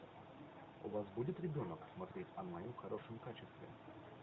у вас будет ребенок смотреть онлайн в хорошем качестве